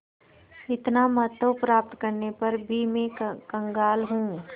इतना महत्व प्राप्त करने पर भी मैं कंगाल हूँ